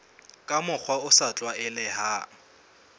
ka mokgwa o sa tlwaelehang